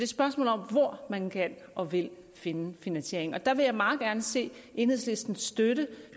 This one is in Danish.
spørgsmål om hvor man kan og vil finde finansieringen og der vil jeg meget gerne se enhedslisten støtte